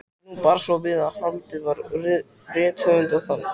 Nú bar svo við að haldið var rithöfundaþing.